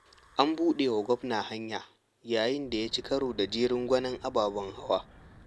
An buɗawa gwamna hanya, yayin da ya ci karo da jerin gwanon ababen hawa.